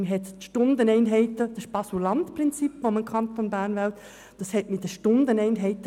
Die Variante mit den Stundeneinheiten, welche man im Kanton Bern wählt, entspricht dem Prinzip von Baselland.